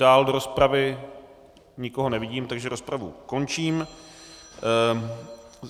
Dál do rozpravy nikoho nevidím, takže rozpravu končím.